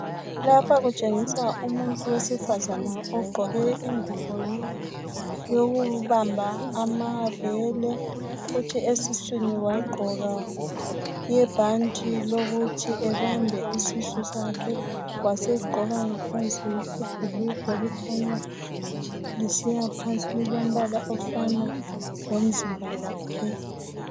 Lapha kutshengisa umuntu wesifazana ogqoke ingubo yokubamba amabele, kuthi esiswini wagqoka ibhanti lokuthi ebambe isisu sakhe. Wasegqoka ngaphansi ibhulugwe elikhanya lisiyaphansi elilombala ofana lomzimba wakhe.